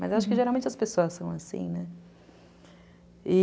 Mas acho que geralmente as pessoas são assim, né?